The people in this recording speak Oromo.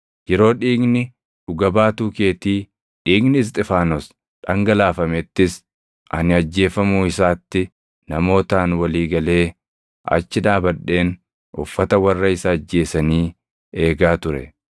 Yeroo dhiigni dhuga baatuu keetii, dhiigni Isxifaanos dhangalaafamettis ani ajjeefamuu isaatti namootaan walii galee achi dhaabadheen uffata warra isa ajjeesanii eegaa ture.’